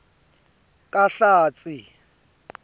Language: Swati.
kahlatsi